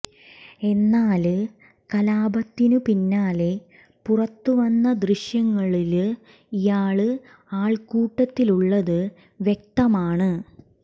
എന്നാല് കലാപത്തിനു പിന്നാലെ പുറത്തു വന്ന ദൃശ്യങ്ങളില് ഇയാള് ആള്ക്കൂട്ടത്തിലുള്ളത് വ്യക്തമാണ്